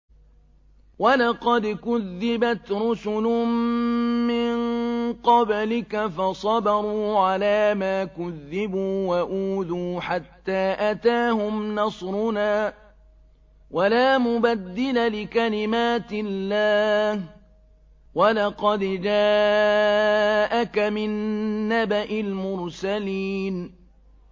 وَلَقَدْ كُذِّبَتْ رُسُلٌ مِّن قَبْلِكَ فَصَبَرُوا عَلَىٰ مَا كُذِّبُوا وَأُوذُوا حَتَّىٰ أَتَاهُمْ نَصْرُنَا ۚ وَلَا مُبَدِّلَ لِكَلِمَاتِ اللَّهِ ۚ وَلَقَدْ جَاءَكَ مِن نَّبَإِ الْمُرْسَلِينَ